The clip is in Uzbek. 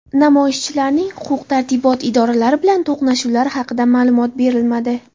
Namoyishchilarning huquq-tartibot idoralari bilan to‘qnashuvlari haqida ma’lumot berilmadi.